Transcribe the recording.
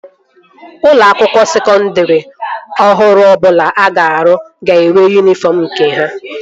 Ụlọ akwụkwọ sekondri ọhụrụ ọbụla a ga-arụ ga-enwe yunifọm nke ha